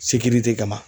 Sekirite kama